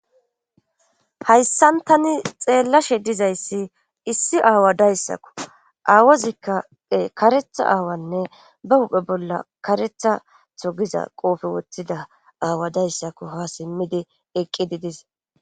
Hhayssantani xeellashe dizayssi issi aawa dayssakko aawozikkae karetha aawanne ba huphe bolla karetha tho giza qoofe woththida aawa dayssako ha simmidi eqqidi dise.